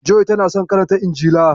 Joy tana son karanta injila.